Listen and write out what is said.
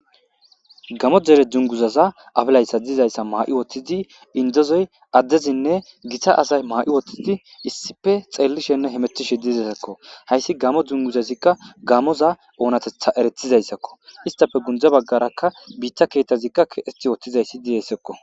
GamO jere dunguzaza afilayssa diizayssa ma7i woththidi indezoy addezinne gita asay maa7i wothtidi issife xeellishenne hemetishe didesakko hayssi gamo dunguzazikka gamoza oonatetha eretizayssakko istafe gundza baggarakka biitta keetazikka keesti yootizayssi diressekko